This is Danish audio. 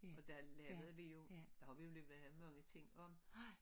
Og der lavede vi jo der har vi lavet mange ting om